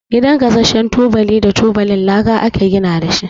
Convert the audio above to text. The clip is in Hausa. Gidan gasashen tubali da tubalin laka ake gina shi.